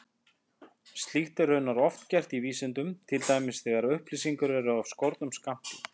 Slíkt er raunar oft gert í vísindum, til dæmis þegar upplýsingar eru af skornum skammti.